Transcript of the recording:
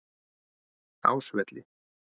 Ásvelli